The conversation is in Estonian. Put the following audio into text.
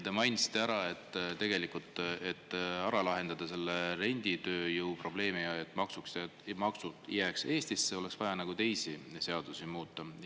Te mainisite, et selleks, et ära lahendada renditööjõu probleem, et maksud jääks Eestisse, oleks vaja teisi seadusi muuta.